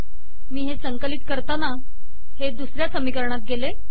मी हे संकलित करताना हे दुसऱ्या समीकरणात गेले